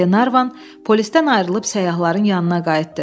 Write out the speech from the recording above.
Qlenarvan polislərdən ayrılıb səyyahların yanına qayıtdı.